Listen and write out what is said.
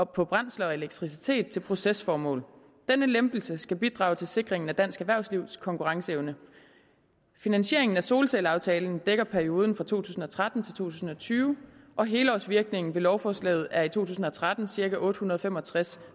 på brændsler og elektricitet til procesformål denne lempelse skal bidrage til sikringen af dansk erhvervslivs konkurrenceevne finansieringen af solcelleaftalen dækker perioden fra to tusind og tretten til to tusind og tyve og helårsvirkningen ved lovforslaget er i to tusind og tretten cirka otte hundrede og fem og tres